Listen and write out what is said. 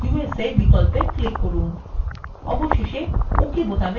অবশেষে ok বোতামে click করুন